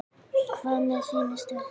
Hvað með þína stöðu?